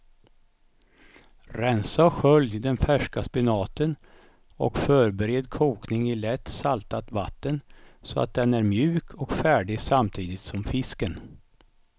Rensa och skölj den färska spenaten och förbered kokning i lätt saltat vatten så att den är mjuk och färdig samtidigt som fisken.